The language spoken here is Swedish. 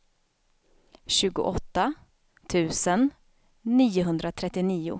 tjugoåtta tusen niohundratrettionio